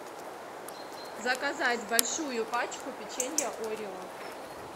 заказать большую пачку печенья орео